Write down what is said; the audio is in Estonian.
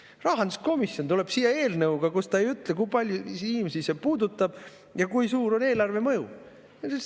Aga rahanduskomisjon tuleb siia eelnõuga, mille puhul ta ei ütle, kui paljusid inimesi see puudutab ja kui suur on mõju eelarvele!